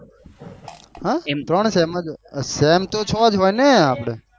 હમ એમ ત્રણ છે same તો છ જ હોઈ ને આપડે